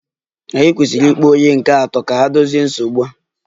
Ànyị kwesịrị ịkpọ onye nke atọ ka ha dozie nsogbu a?